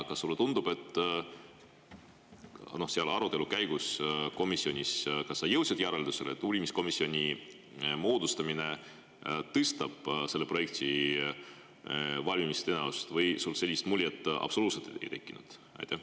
Kas sa komisjonis jõudsid arutelu käigus järeldusele, et uurimiskomisjoni moodustamine tõstab selle projekti valmimise tõenäosust või sul sellist muljet absoluutselt ei tekkinud?